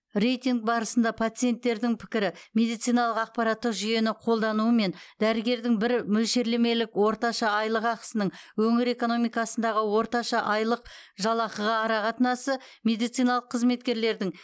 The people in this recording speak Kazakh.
рейтинг барысында пациенттердің пікірі медициналық ақпараттық жүйені қолдануы мен дәрігердің бір мөлшерлемелік орташа айлық ақысының өңір экономикасындағы орташа айлық жалақыға арақатынасы медициналық қызметкерлердің